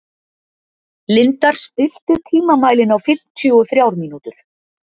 Lindar, stilltu tímamælinn á fimmtíu og þrjár mínútur.